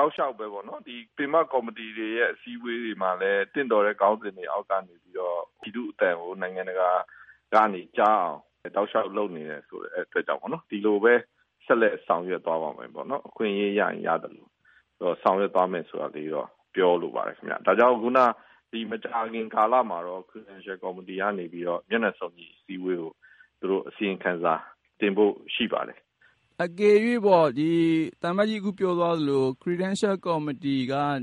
ောက်လျှောက်ပဲပေါ့နော်၊ ပင်မကော်မတီတွေရဲ့အစည်းဝေးတွေ မှာလည်း သင့်လျော်တဲ့ခေါင်းစဉ်တွေအောက်ကနေပြီးတော့ ပြည်သူ့အသံကို နိုင်ငံတကာကနေ ကြားအောင် တောက်လျှောက်လုပ်နေတဲ့အတွက်ကြောင့် ဒီလိုပဲ ဆက်လက်ဆောင်ရွက်သွားပါမယ်.. ပေါ့နော်၊ အခွင့်အရေး ရရင်ရသလို ဆောင်ရွက်သွားမယ်ဆိုတာလေးတော့ ပြောလိုပါတယ်ခင်ဗျ။ ဒါကြောင့် မကြာခင်ကာလမှာတော့ credential committee ကနေပြီးတော့ မျက်နှာစုံညီ အစည်းအဝေးကို သူတို့ အစီရင်ခံစာ တင်ဖို့ရှိပါတယ်။” အကယ်၍ပေါ့၊ အခု သံအမတ်ကြီးပြောသွားသလို credential committee က မျက်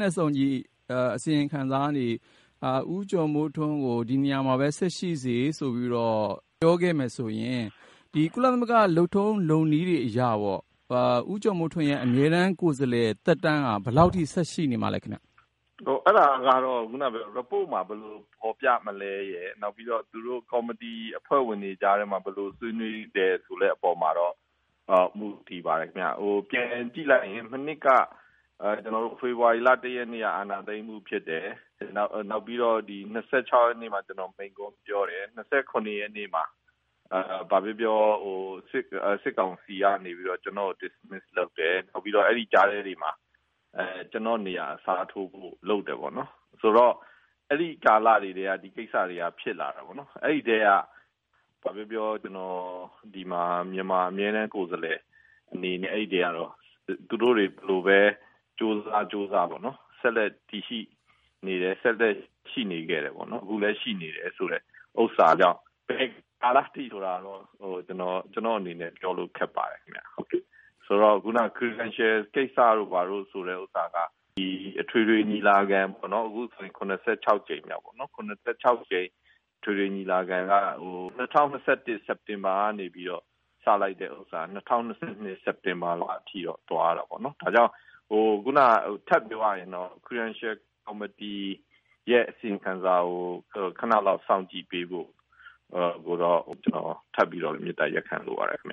နှာစုံညီအစီရင်ခံစာကနေ ‘ဦးကျော်မိုးထွန်းကို ဒီနေရာမှာပဲ ဆက်ရှိစေ..’ ဆိုပြီးတော့ ပြောခဲ့မယ်ဆိုရင် ကုလမသဂ္ဂ လုပ်ထုံးလုပ်နည်းတွေအရပေါ့။ ဦးကျော်မိုးထွန်းရဲ့ အမြဲတမ်းကိုယ်စားလှယ်သက်တမ်းက ဘယ်လောက်ထိ ဆက်ရှိနေမှာလဲခင်ဗျ။ အဲဒါကတော့ ရီပို့မှာ ဘယ်လို ဖော်ပြမလဲရယ်၊ နောက်ပြီးတော့ သူတို့ ကော်မတီအဖွဲ့ဝင်တွေကြားထဲမှာ ဘယ်လိုဆွေးနွေးသလဲဆိုတဲ့အပေါ်မှာတော့ မူတည်ပါတယ်ခင်ဗျ။ ပြန်ကြည့်လိုက်ရင် မနှစ်က ဖေဖေါ်ဝါရီလ ၁ ရက်နေ့က အာဏာသိမ်းမှုဖြစ်တယ်။ နောက်ပြီးတော့ ၂၆ ရက်နေ့မှာ ကျနော် မိန့်ခွန်းပြောတယ်။ ၂၇ ရက်နေ့မှာ ဘာပြောပြော စစ်ကောင်စီကနေပြီးတော့ ကျနော့်ကို dismiss လုပ်တယ်။ အဲဒီကြားထဲတွေမှာ ကျနော့်နေရာအစားထိုးဖို့ လုပ်တယ်ပေါ့နော်။..ဆိုတော့ အဲဒီကာလတွေကတည်းက ဒီကိစ္စတွေက ဖြစ်လာတာပေါ့နော်။ အဲဒီကတည်းက ဘာပြောပြော ကျနော် ဒီမှာ မြန်မာအမြဲတမ်းကိုယ်စားလှယ်အနေနဲ့ အဲဒီကတည်းကတော့ သူတို့တွေ ဘယ်လိုပဲ ကြိုးစားကြိုးစားပေါ့နော်၊ ဆက်လက်တည်ရှိနေခဲ့တယ်၊ အခုလည်း ရှိနေတယ်ဆိုတော့ ဘယ်ကာလအထိလဲဆိုတာကတော့ ကျနော့်အနေနဲ့ ပြောလို့ ခက်ပါတယ်ဗျ။ အခုနက credential ကိစ္စတို့ ဘာတို့ဆိုတဲ့ဥစ္စာက အခုဆိုရင် ၇၆ ကြိမ်မြောက် အထွေထွေညီလာခံက ၂၀၂၁ စက်တင်ဘာကနေပြီးတော့ စလိုက်တာက ၂၀၂၂ စက်တင်ဘာအထိ သွားတာပေါ့နော်။ ဒါကြောင့် ထပ်ပြောရရင်တော့ credential committee ရဲ့အစီရင်ခံစာကို ခနလောက် စောင့်ကြည့်ပေးဖို့ကိုတော့ ကျနော် ထပ်ပြီးတော့ မေတ္တာရပ်ခံလိုပါတယ်ခင်ဗ